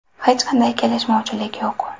Hech qanday kelishmovchilik yo‘q.